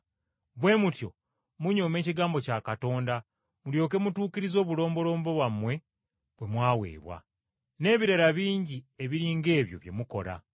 Bwe mutyo munyooma ekigambo kya Katonda mulyoke mutuukirize obulombolombo bwammwe bwe mwaweebwa. N’ebirala bingi ebiri ng’ebyo bye mukola.”